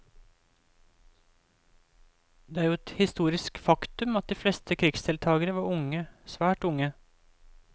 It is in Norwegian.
Det er jo et historisk faktum at de fleste krigsdeltagere var unge, svært unge.